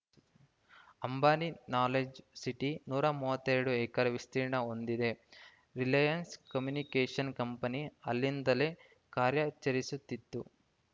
Ambani knowledge city ನೂರ ಮೂವತ್ತೆರಡು acre ವಿಸ್ತೀರ್ಣ ಹೊಂದಿದೆ ರಿಲಯನ್ಸ್‌ ಕಮ್ಯುನಿಕೇಷನ್‌ ಕಂಪನಿ ಅಲ್ಲಿಂದಲೇ ಕಾರ್ಯಾಚರಿಸುತ್ತಿತ್ತು